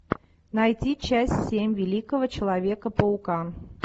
найти часть семь великого человека паука